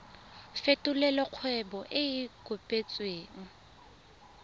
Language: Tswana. fetolela kgwebo e e kopetswengcc